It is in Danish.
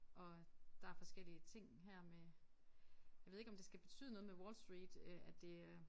Og øh der forskellige ting her med jeg ved ikke om det skal betyde noget med Wall Street øh at det øh